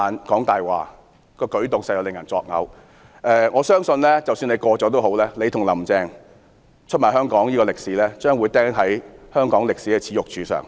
即使《條例草案》獲得通過，我相信他與"林鄭"出賣香港一事將會釘在香港歷史的"耻辱柱"上。